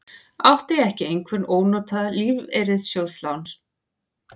Átti ekki einhver ónotað lífeyrissjóðslán?